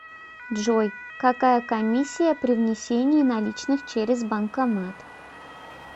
джой какая комиссия при внесении наличных через банкомат